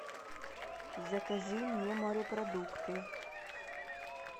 закажи мне морепродукты